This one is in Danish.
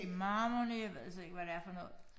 Matrimony jeg ved slet ikke hvad det er for noget